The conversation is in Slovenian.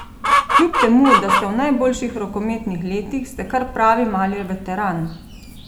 Kljub temu, da ste v najboljših rokometnih letih, ste kar pravi mali veteran!